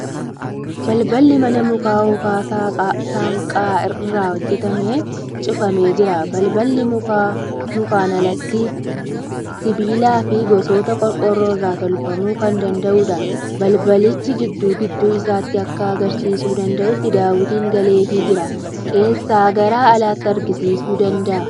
Balballi manaa muka hookan saanqaa irraa hojjatame cufamee jira. Balballi mukaan alatti sibiila fi gosoota qorqoorroo irraa tolfamuu kan danda'uudha. Balbalichi gidduu gidduu isaatti akka agarsiisuu danda'utti daawwitiin galeeefii jira. Keessaa gara alaatti agarsiisuu ni danda'a.